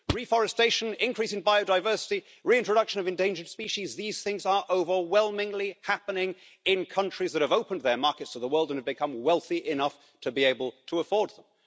Reforestation, increase in biodiversity, reintroduction of endangered species, these things are overwhelmingly happening in countries that have opened their markets to the world and have become wealthy enough to be able to afford them.